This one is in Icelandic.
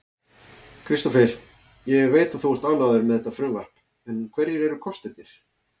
Kristófer, ég veit að þú ert ánægður með þetta frumvarp en hverjir eru kostirnir?